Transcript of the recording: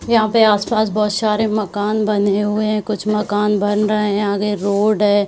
यहाँ पे आसपास बहुत सारे मकान बने हुए हैं। कुछ मकान बन रहे हैं आगे रोड है।